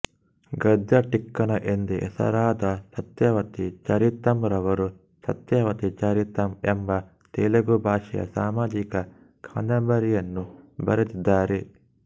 ಗದ್ಯ ಟಿಕ್ಕಣ ಎಂದೇ ಹೆಸರಾದ ಸತ್ಯವತಿ ಚರಿತಂರವರು ಸತ್ಯವತಿ ಚರಿತಂ ಎಂಬ ತೆಲುಗು ಭಾಷೆಯ ಸಾಮಾಜಿಕ ಕಾದಂಬರಿಯನ್ನು ಬರೆದಿದ್ದಾರೆ